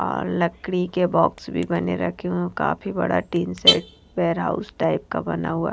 और लकड़ी के बॉक्स भी बने रखे हैं काफी बड़ा tin shed warehouse house type का बना हुआ है।